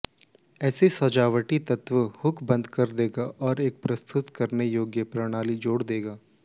ऐसा सजावटी तत्व हुक बंद कर देगा और एक प्रस्तुत करने योग्य प्रणाली जोड़ देगा